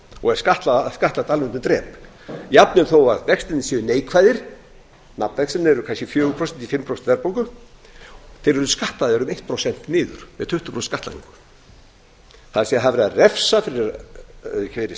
og er skattlagt alveg undir drep jafnvel þó vextirnir séu neikvæðir nafnvextirnir eru kannski fjögur prósent í fimm prósent verðbólgu þeir eru skattað um eitt prósent niður með tuttugu prósent skattlagningu það er verið að refsa fyrir sparnað